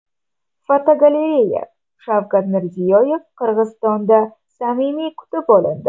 Fotogalereya: Shavkat Mirziyoyev Qirg‘izistonda samimiy kutib olindi.